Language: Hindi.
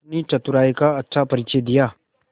अपनी चतुराई का अच्छा परिचय दिया